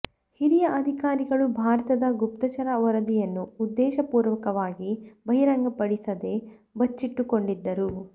ಹಿರಿಯ ಅಧಿಕಾರಿಗಳು ಭಾರತದ ಗುಪ್ತಚರ ವರದಿಯನ್ನು ಉದ್ದೇಶ ಪೂರ್ವಕವಾಗಿ ಬಹಿರಂಗಪಡಿಸದೆ ಬಚ್ಚಿಟ್ಟುಕೊಂಡಿದ್ದರು